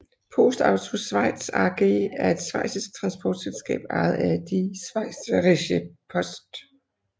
PostAuto Schweiz AG er et schweizisk transportselskab ejet af Die Schweizerische Post